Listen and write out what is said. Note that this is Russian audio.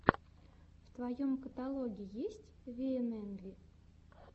в твоем каталоге есть виэнэнви